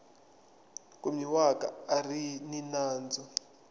kumiwaka a ri ni nandzu